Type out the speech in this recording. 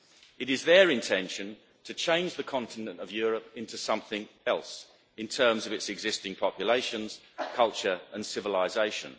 It is their intention to change the continent of Europe into something else in terms of its existing populations, culture and civilisation.